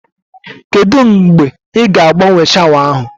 Kedụ mgbe ị ga agbanwe shawa ahụ